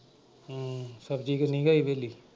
ਹਮ ਸਬਜ਼ੀ ਕਿੰਨੀ ਉਗਾਈ ਹਵੇਲੀ?